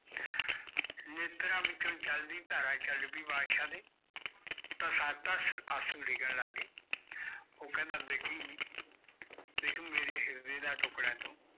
ਨੇਤ੍ਰਆ ਵਿੱਚੋ ਜਲ ਦੀ ਧਾਰਾ ਚਲ ਪੈ ਬਾਦਸ਼ਾ ਦੇ ਅਸੁ ਡਿਗਣ ਲਗੇ ਓ ਕਹਿੰਦਾ ਬੇਟੀ ਦੇਖ ਮੇਰੇ ਹਿਰਦੇ ਦਾ ਟੁਕੜਾ ਤੂੰ